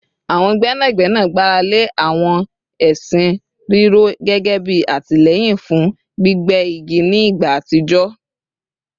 Àwọn gbẹ́nàgbẹ́nà gbára lé àwọn ẹṣin rírọ̀ gẹ́gẹ́ bí àtìlẹ́yìn fún gbígé igi ní ìgbà àtijọ́